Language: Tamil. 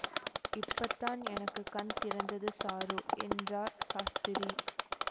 இப்ப தான் எனக்கு கண் திறந்தது சாரு என்றார் சாஸ்திரி